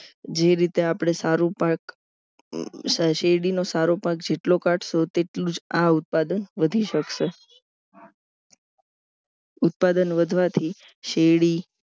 જે રીતે આપણે સારું પાક શેરડીનો સારો પાક જેટલો કાઢશો તેટલું જ આ ઉત્પાદન વધી શકશે ઉત્પાદન વધવાથી શેરડી